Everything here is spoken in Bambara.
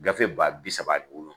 Gafe baa bi saba